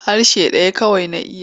Harshe ɗaya kawai na iya.